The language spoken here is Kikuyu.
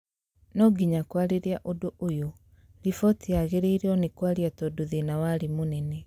nonginya kwariria ũndũ ũyu ,riboti yagĩrĩrwo nĩ kwaario tondũ thĩna warĩ mũnene